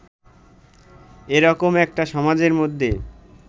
এ রকম একটা সমাজের মধ্যে